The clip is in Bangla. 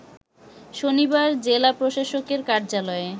শনিবার জেলা প্রশাসকের কার্যালয়ে